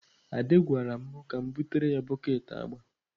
Ade gwara m ka m butere ya bọket agba.